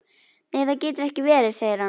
Nei það getur ekki verið, segir hann.